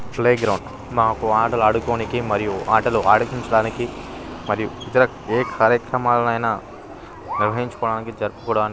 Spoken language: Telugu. ప్లేగ్రౌండ్ మాకు ఆటలు ఆడుకోనికి మరియు ఆటలు అడిపించడానికి మరియు ఏ కార్యక్రమాలైన నిర్వహించుకోడానికి జరుపుకోడానికి --